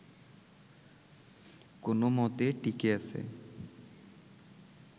কোনোমতে টিকে আছে